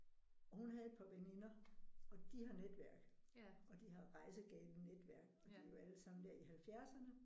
Og hun havde et par veninder og de har netværk og de har rejsegale netværk og de er jo alle sammen der i halvfjerdserne